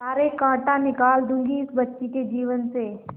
सारे कांटा निकाल दूंगी इस बच्ची के जीवन से